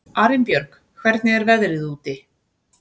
Arinbjörg, hvernig er veðrið úti?